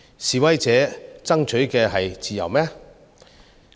示威者爭取的是自由嗎？